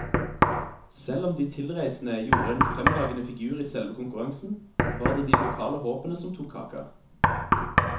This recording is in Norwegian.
Selv om de tilreisende gjorde en fremragende figur i selve konkurransen, var det de lokale håpene som tok kaka.